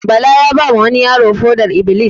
Bala ya ba ma wani yaro foɗar-iblis